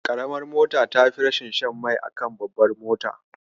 Ƙaramar mota tafi rashin shan mai a kan babbar mota.